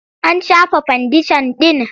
An shafa fandeshan ɗin?